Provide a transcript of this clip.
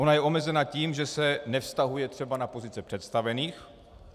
Ona je omezena tím, že se nevztahuje třeba na pozice představených.